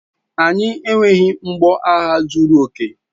Anyị enweghị mgbọagha zuru oke.